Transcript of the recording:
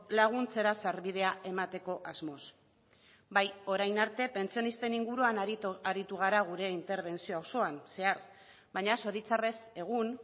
laguntzera sarbidea emateko asmoz bai orain arte pentsionisten inguruan aritu gara gure interbentzio osoan zehar baina zoritzarrez egun